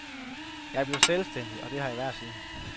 Jeg blev selvstændig, og det har jeg været siden.